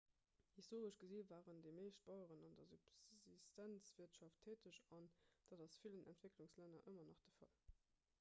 historesch gesi waren déi meescht baueren an der subsistenzwirtschaft täteg an dat ass a villen entwécklungslänner ëmmer nach de fall